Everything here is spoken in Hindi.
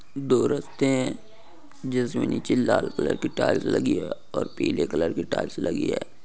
दो रास्ते हैं जिसमें नीचे लाल कलर की टाइल्स लगी है और पीले कलर की टाइल्स लगी है।